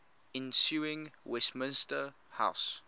ensuing westminster house